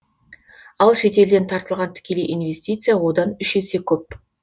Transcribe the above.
ал шетелден тартылған тікелей инвестиция одан үш есе көп